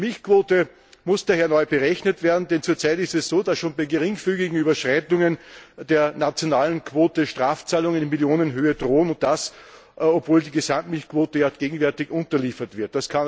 Die Milchquote muss daher neu berechnet werden, denn zurzeit ist es so, dass schon bei geringfügigen Überschreitungen der nationalen Quote Strafzahlungen in Millionenhöhe drohen, und das, obwohl die Gesamtmilchquote gegenwärtig unterliefert wird.